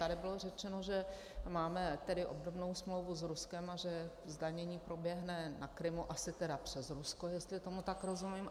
Tady bylo řečeno, že máme tedy obdobnou smlouvu s Ruskem a že zdanění proběhne na Krymu - asi tedy přes Rusko, jestli tomu tak rozumím.